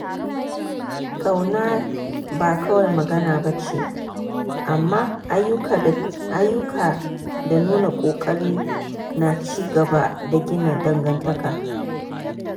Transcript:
Ƙauna ba kawai magana ba ce, amma ayyuka da nuna ƙoƙari na ci gaba da gina dangantaka.